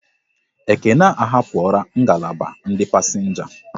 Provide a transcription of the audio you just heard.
Ekene ahapura ngalaba ndị pasenga